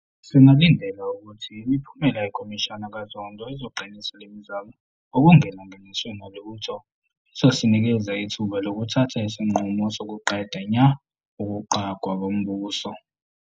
Singalindela ukuthi imiphumela yeKhomishana kaZondo izoqinisa le mizamo ngokungelinganiswe nalutho. Izosinikeza ithuba lokuthatha isinqumo sokuqeda nya ukuqhwagwa kombuso.